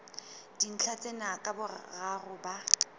dintlha tsena ka boraro ba